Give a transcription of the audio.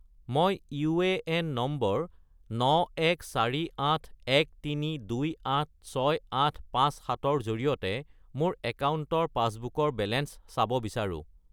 মই UAN number 914813286857 -ৰ জৰিয়তে মোৰ একাউণ্টৰ পাছবুকৰ বেলেঞ্চ চাব বিচাৰোঁ